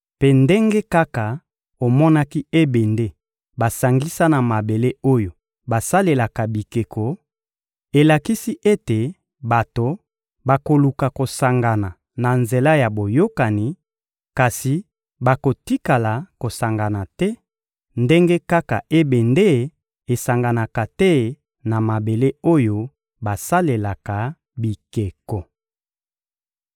Mpe ndenge kaka omonaki ebende basangisa na mabele oyo basalelaka bikeko, elakisi ete bato bakoluka kosangana na nzela ya boyokani, kasi bakotikala kosangana te, ndenge kaka ebende esanganaka te na mabele oyo basalelaka bikeko.